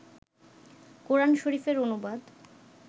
কোরআন শরীফের অনুবাদ